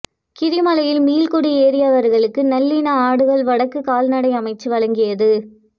கீரிமலையில் மீள்குடியேறியவர்களுக்கு நல்லின ஆடுகள் வடக்கு கால்நடை அமைச்சு வழங்கியது